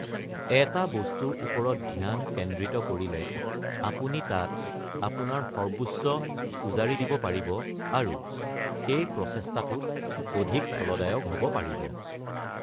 এটা বস্তুৰ ওপৰত ধ্যান কেন্দ্ৰিত কৰিলে আপুনি তাত আপোনাৰ সৰ্বোচ্চ উজাৰি দিব পাৰিব, আৰু সেই প্ৰচেষ্টাটোত অধিক ফলদায়ক হ’ব পাৰিব।